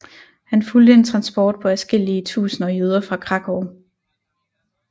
Han fulgte en transport på adskillige tusinder jøder fra Krakow